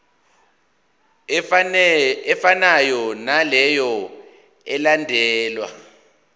efanayo naleyo eyalandelwa